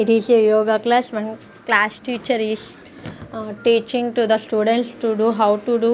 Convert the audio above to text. it is a yoga class when class teacher is uh teaching to the students to do how to do --